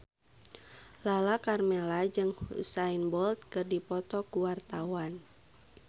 Lala Karmela jeung Usain Bolt keur dipoto ku wartawan